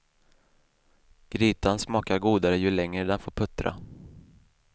Grytan smakar godare ju längre den får puttra.